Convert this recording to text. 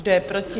Kdo je proti?